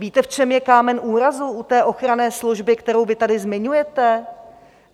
Víte, v čem je kámen úrazu u té ochranné služby, kterou vy tady zmiňujete?